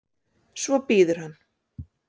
Svo bíður hann.